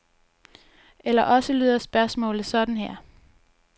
Eller også lyder spørgsmålet sådan her.